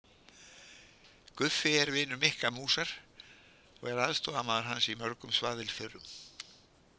Guffi er vinur Mikka músar og er aðstoðarmaður hans í mörgum svaðilförum.